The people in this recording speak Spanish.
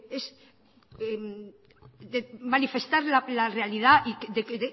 es manifestar la realidad de que